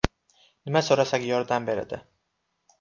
Nima so‘rasak yordam beradi.